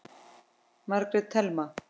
Margrét Thelma.